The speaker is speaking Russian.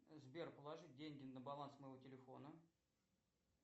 сбер положить деньги на баланс моего телефона